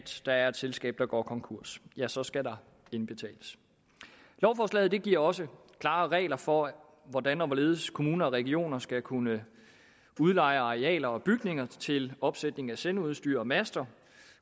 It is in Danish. der er et selskab der går konkurs ja så skal der indbetales lovforslaget giver også klare regler for hvordan og hvorledes kommuner og regioner skal kunne udleje arealer og bygninger til opsætning af sendeudstyr og master